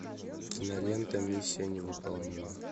кинолента миссия невыполнима